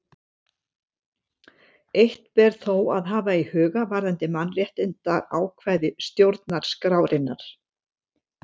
Eitt ber þó að hafa í huga varðandi mannréttindaákvæði stjórnarskrárinnar.